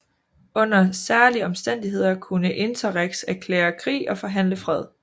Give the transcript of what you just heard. Under særlige omstændigheder kunne interrex erklære krig og forhandle fred